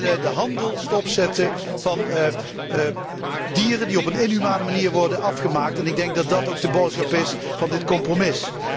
Wij willen de handel stopzetten van dieren die op een inhumane manier worden afgemaakt. Ik denk dat dat ook de boodschap is van dit compromis.